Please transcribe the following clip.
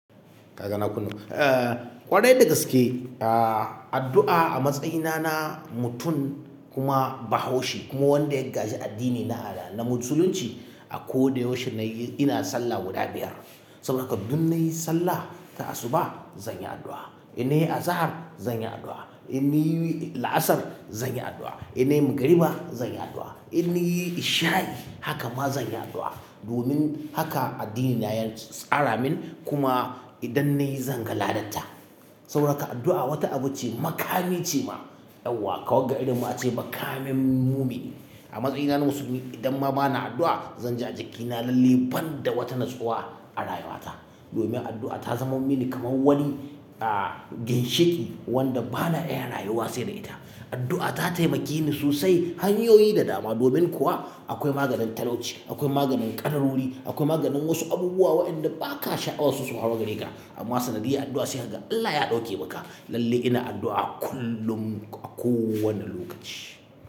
Kaga na kunna? Eh, ƙwarai da gaske, ah, addu'a a matsayina na mutum kuma Bahaushe kuma wanda ya gaji addini na na Musulunci, a ko da yaushe na yi, ina sallah guda biyar. Saboda haka duk na yi sallah ta asuba, zan yi addu'a. In na yi azahar, zan yi addu'a. In na yi la'asar, zan yi addu'a. In na yi magriba, zan yi addu'a. In niyi ishsha'i, haka ma zan yi addu'a. Domin haka addini na ya tsara min kuma idan nayi zan ga ladad ta. Saboda haka addu'a wata abu ce, makami ce ma, yauwa ka wagga irin ma a ce makamin mumini. A matsayina na musulmi idan ma ba na addu'a, zan ji a jikina lalle ban da wata natsuwa a rayuwa ta. Domin addu'a ta zama mini kamar wani, ah, ginshiƙi wanda ba na iya rayuwa sai da ita. Addu'a ta taimake ni sosai hanyoyi da dama. Domin kuwa akwai maganin talauci, akwai maganin ƙadarori, akwai maganin wasu abubuwa waƴanda ba ka sha'awa su su hwaru gare ka. Amma sanadiyya addu'a sai kaga Allah ya ɗauke maka. Lalle ina addu'a kullum a kowane lokaci.